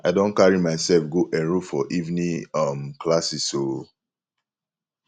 i don carry myself go enrol for evening um classes o